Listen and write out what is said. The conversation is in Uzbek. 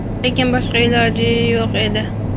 lekin boshqa iloji yo‘q edi.